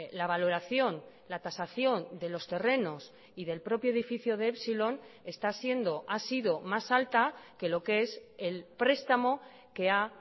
la valoración la tasación de los terrenos y del propio edificio de epsilon está siendo ha sido más alta que lo que es el prestamo que ha